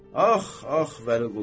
Ax, ax, Vəliqulu.